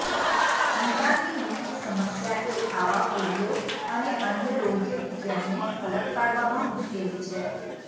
નિદાનની મુખ્ય સમસ્યા એ આવા ફોલ્લીઓ અને અન્ય રોગવિજ્ઞાનને અલગ પાડવામાં મુશ્કેલી છે